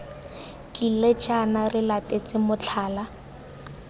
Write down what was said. tlile jaana re latetse motlhala